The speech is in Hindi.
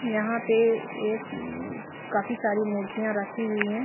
यहां पे एक काफी सारी मूर्तियां रखी हुई है।